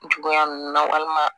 Juguya ninnu na wa